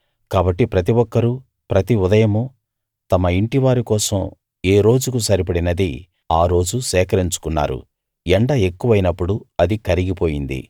కాబట్టి ప్రతి ఒక్కరూ ప్రతి ఉదయమూ తమ ఇంటివారి కోసం ఏ రోజుకు సరిపడినది ఆ రోజు సేకరించుకున్నారు ఎండ ఎక్కువైనప్పుడు అది కరిగిపోయింది